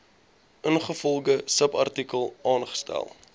ingevolge subartikel aangestel